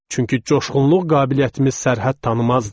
Çünki coşğunluq qabiliyyətimiz sərhəd tanımazdı.